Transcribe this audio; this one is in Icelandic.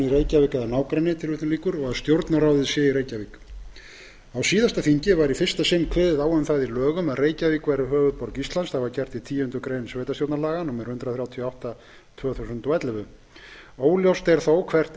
í reykjavík eða nágrenni og að stjórnarráðið sé í reykjavík á síðasta þingi var í fyrsta sinn kveðið á um það í lögum að reykjavík væri höfuðborg íslands óljóst er þó hvert